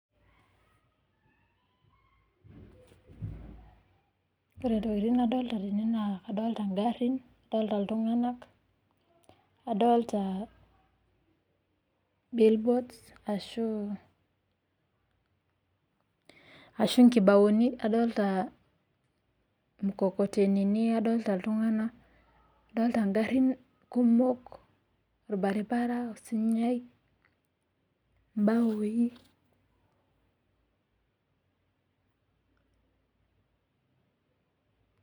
Ore intokiting nadolita tene naa kadolita ingarrin, adolita iltung'anak, adolita billboards ashu nkibaoni, adolita mkokotenini, adolita iltung'anak, ingarrin kumok, orbaribara, osunyai, mbaoi